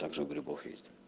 также у грибов есть